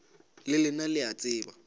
le lena le a tseba